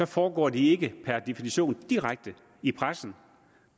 foregår de ikke per definition direkte i pressen